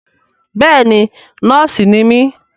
Bẹ́ẹ̀ni nọ́ọ̀sì ni mí